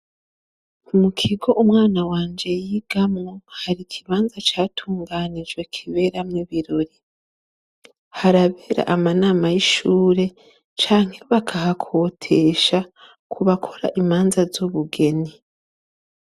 Mukigo umwana wanje yigamwo hari ikibanza catunganijwe kiberamwo ibirori. Harabera ama nama yishure canke bakahakotesha kubakora imanza z'ubugeni.